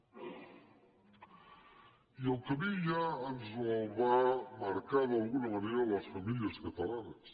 i el camí ja ens el van marcar d’alguna manera les famílies catalanes